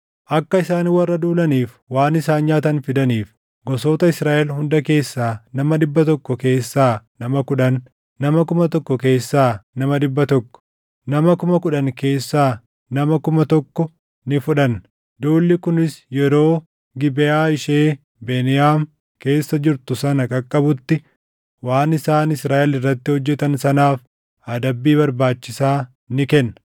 Akka isaan warra duulaniif waan isaan nyaatan fidaniif, gosoota Israaʼel hunda keessaa nama dhibba tokko keessaa nama kudhan, nama kuma tokko keessaa nama dhibba tokko, nama kuma kudhan keessaa nama kuma tokko ni fudhanna. Duulli kunis yeroo Gibeʼaa ishee Beniyaam keessa jirtu sana qaqqabutti waan isaan Israaʼel irratti hojjetan sanaaf adabbii barbaachisaa ni kenna.”